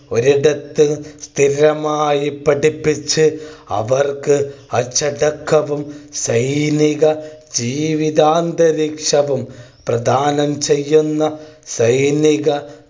ഒരിടത്ത് സ്ഥിരമായി പഠിപ്പിച്ചു അവർക്ക് അച്ചടക്കവും സൈനിക ജീവിതാന്തരീക്ഷവും പ്രധാനം ചെയ്യുന്ന സൈനിക